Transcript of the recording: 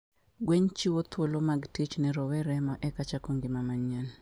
Gwen chiwo thuolo mag tich ne rowere ma eka chako ngima manyien.